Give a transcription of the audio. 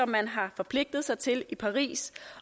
man har forpligtet sig til i paris